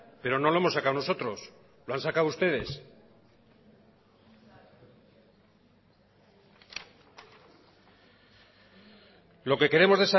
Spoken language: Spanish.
pero no lo hemos sacado nosotros lo han sacado ustedes lo que queremos